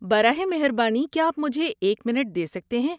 براہ مہربانی کیا آپ مجھے ایک منٹ دے سکتے ہیں؟